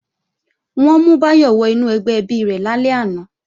Wọ́n mú Báyọ̀ wọ inú ẹgbẹ́ ẹbí rẹ̀ lálẹ́ àná